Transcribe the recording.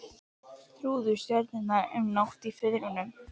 Þrúði stjörnur um nótt í Firðinum.